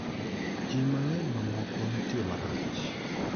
Ji mang'eny mamoko nitie marach.